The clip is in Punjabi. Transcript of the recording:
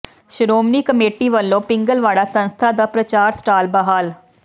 ਸ਼੍ਰੋਮਣੀ ਕਮੇਟੀ ਵੱਲੋਂ ਪਿੰਗਲਵਾੜਾ ਸੰਸਥਾ ਦਾ ਪ੍ਰਚਾਰ ਸਟਾਲ ਬਹਾਲ